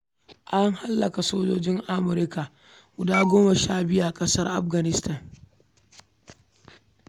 An hallaka sojojin Amurka guda goma sha biyu a ƙasar Afghanistan.